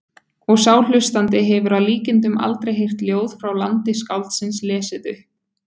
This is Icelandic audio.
Og sá hlustandi hefur að líkindum aldrei heyrt ljóð frá landi skáldsins lesið upp.